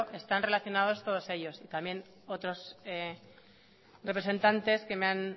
están relacionaos todos ellos y también otro representantes que me han